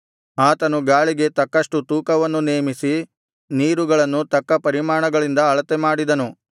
ಆತನು ಗಾಳಿಗೆ ತಕ್ಕಷ್ಟು ತೂಕವನ್ನು ನೇಮಿಸಿ ನೀರುಗಳನ್ನು ತಕ್ಕ ಪರಿಮಾಣಗಳಿಂದ ಅಳತೆಮಾಡಿದನು